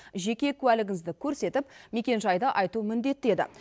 жеке куәлігіңізді көрсетіп мекенжайды айту міндетті еді